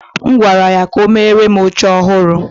M gwara ya ka o meere m oche ọhụrụ